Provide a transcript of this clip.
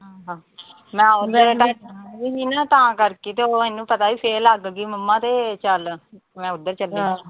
ਮੈਂ ਉਹਦੇ ਨੀਂ ਨਾ ਤਾਂ ਕਰਕੇ, ਉਹ ਉਹਨੂੰ ਪਤਾ ਵੀ, ਫੇਰ ਲੱਗ ਗੀ ਮੰਮਾ ਤੇ ਚਲ ਮੈਂ ਉਧਰ ਚੱਲੀ ਆਂ।